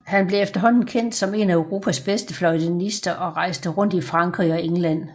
Han blev efterhånden kendt som en af Europas bedste fløjtenister og rejste rundt i Frankrig og England